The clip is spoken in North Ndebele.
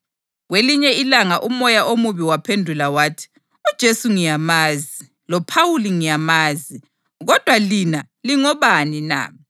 Kwelinye ilanga umoya omubi waphendula wathi, “UJesu ngiyamazi, loPhawuli ngiyamazi, kodwa lina lingobani na?”